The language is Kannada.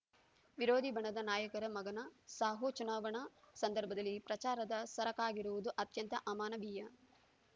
ವಿರೋಧಿ ಬಣದ ನಾಯಕರ ಮಗನ ಸಾವೂ ಚುನಾವಣಾ ಸಂದರ್ಭದಲ್ಲಿ ಪ್ರಚಾರದ ಸರಕಾಗಿರುವುದು ಅತ್ಯಂತ ಅಮಾನವೀಯ